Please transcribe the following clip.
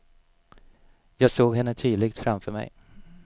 Jag såg henne tydligt framför mig.